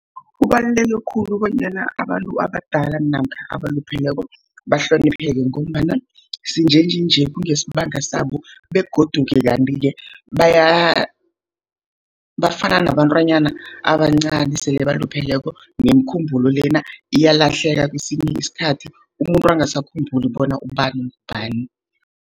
Kubaluleke khulu bonyana abantu abadala namkha abalupheleko bahlonipheke, ngombana sinjenjenje kungesibanga sabo, begodu kanti-ke bafana nabantwanyana abancani. Sele balupheleko nemkhumbulo lena, iyalahleka kwesinye isikhathi, umuntu angasakhumbuli bona ubani ngubani.